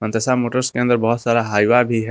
मनताशा motors के अंदर बहुत सारा हाइव भी है।